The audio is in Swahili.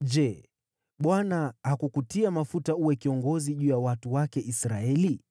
“Je, Bwana hakukutia mafuta uwe kiongozi juu ya watu wake Israeli?